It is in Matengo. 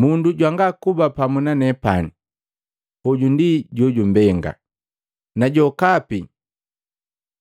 “Mundu jwanga kuba pamu nanepani, hoju ndi jojumbenga, na jokapi